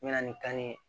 N mɛna ni kanni ye